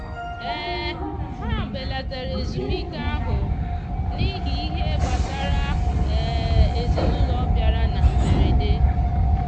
ha belatara ezumike ahụ n'ihi ihe gbasara ezinụụlọ bịara na mberede.